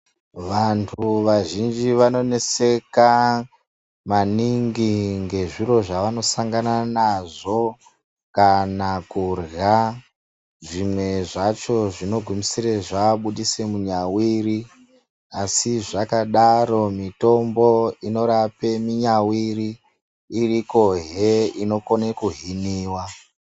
Vantu vazhinji vanoneseka maningi ngezviro zvavanosangana nazvo kana kurya zvimwe zvacho zvinogumisire zvabudise munyawiri asi zvakadaro mitombo inorape munyawiri irikohe inokone kuhiniwa.